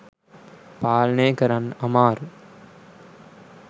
පාලනය කරන්න අමාරුයි.